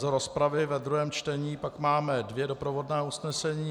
Z rozpravy ve druhém čtení pak máme dvě doprovodná usnesení.